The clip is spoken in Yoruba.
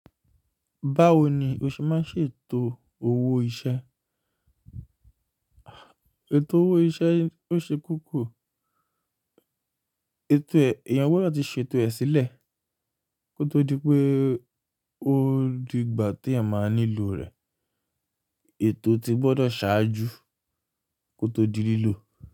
Báwo ni o ṣe máa ń ṣètò òwò iṣẹ́? Ètò owó iṣẹ́ ó ṣe kókó. Ètò ẹ̀, èèyàn gbọ́dọ̀ ti ṣètò ẹ̀ sílẹ̀ kó tó di pé ó di ìgbà tí ẹyan máa nílò rẹ̀. Ètò ti gbọ́dọ̀ ṣáájú kó tó di lílò.